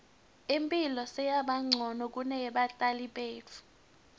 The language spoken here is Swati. imphilo seyabancono kuneyebatali betfu